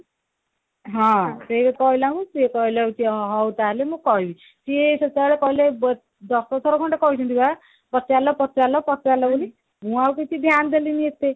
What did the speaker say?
ହଁ ସେଇଆ କହିଲାରୁ ସିଏ କହିଲେ କି ହଉ ତାହେଲେ ମୁଁ କହିବି ସିଏ ସେତେବେଳେ କହିଲେ ଦଶ ଥର ଖଣ୍ଡେ କହିଛନ୍ତି ବା ପଚାରିଲେ ପଚାରିଲେ ପଚାରିଲେ ହାରି ମୁଁ ଆଉ କିଛି ଧ୍ୟାନ ଦେଲିନି ଏତେ